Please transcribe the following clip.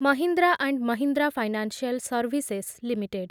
Mahindra and Mahindra financial services limited